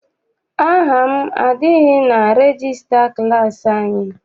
Aha m adịghị na regista klassi anyị.